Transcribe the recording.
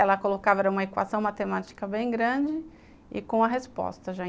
Ela colocava uma equação matemática bem grande e com a resposta já.